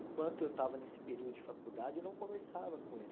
Enquanto eu estava nesse período de faculdade, eu não conversava com ele.